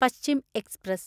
Paschim express